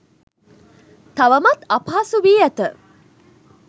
තවමත් අපහසු වී ඇත